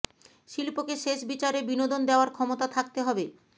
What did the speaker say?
শিল্পকে শেষ বিচারে বিনোদন দেওয়ার ক্ষমতা থাকতে হবে